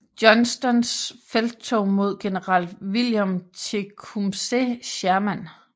Johnstons felttog mod general William Tecumseh Sherman